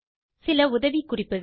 சில உதவிகுறிப்புகள்